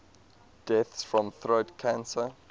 deaths from throat cancer